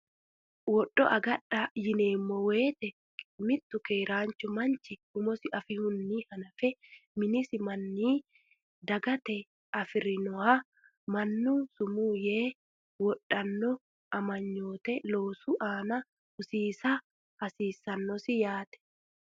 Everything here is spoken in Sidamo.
Wodho agadha yineemmo woyite mittu keeraanchu manchi umosi afi- hunni hanafe minisi manninni, dagatenni afi’rinoha mannu sumuu yee adhanno amanyoote loosu aana hosiisa hasiissannosi yaate.